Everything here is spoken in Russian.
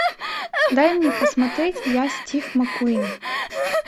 дай мне посмотреть я стив маккуин